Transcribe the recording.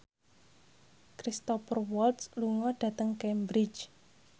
Cristhoper Waltz lunga dhateng Cambridge